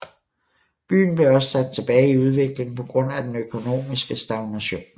Byen blev også sat tilbage i udvikling på grund af den økonomiske stagnation